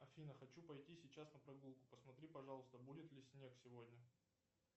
афина хочу пойти сейчас на прогулку посмотри пожалуйста будет ли снег сегодня